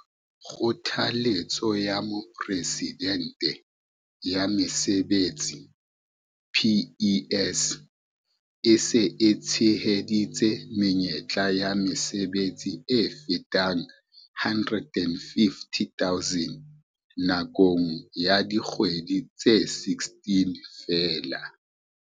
Kgothaletso ya Mopresidente ya Mesebetsi, PES, e se e tsheheditse menyetla ya mesebetsi e fetang 850 000 nakong ya dikgwedi tse 16 feela.